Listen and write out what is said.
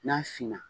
N'a finna